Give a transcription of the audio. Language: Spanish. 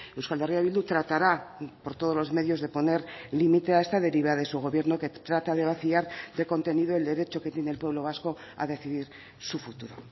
euskal herria bildu tratará por todos los medios de poner límite a esta deriva de su gobierno que trata de vaciar de contenido el derecho que tiene el pueblo vasco a decidir su futuro